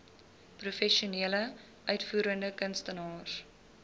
professionele uitvoerende kunstenaars